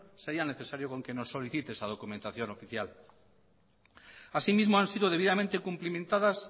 sería necesaria con que nos solicite esa documentación oficial asimismo han sido debidamente cumplimentadas